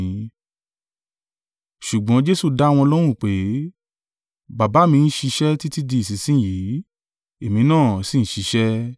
Ṣùgbọ́n Jesu dá wọn lóhùn pé, “Baba mi ń ṣiṣẹ́ títí di ìsinsin yìí, èmi náà sì ń ṣiṣẹ́.”